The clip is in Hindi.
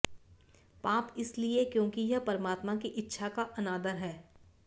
पाप इसलिए क्योंकि यह परमात्मा की इच्छा का अनादर है